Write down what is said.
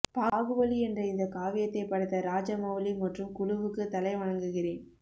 பாகுபலி என்ற இந்த காவியத்தை படைத்த ராஜமவுலி மற்றும் குழுவுக்கு தலை வணங்குகிறேன்